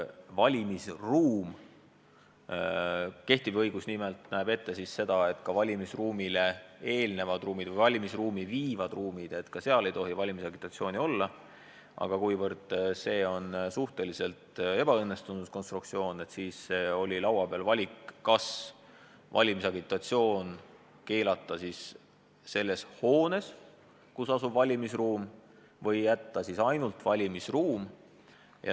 Nimelt näeb kehtiv õigus ette, et ka valimisruumi ees olevates ruumides või valmisruumi viivates ruumides ei tohi valimisagitatsiooni teha, aga kuivõrd see on suhteliselt ebaõnnestunud konstruktsioon, siis oli laual valik, kas keelata valimisagitatsioon selles hoones, kus asub valimisruum, või jätta ainult valimisruum.